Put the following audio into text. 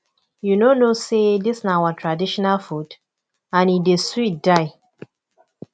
you no know say dis na our traditional food and e dey sweet die